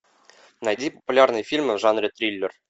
найди популярные фильмы в жанре триллер